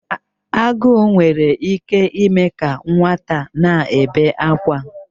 Agụụ nwere ike ime ka nwata na-ebe akwa.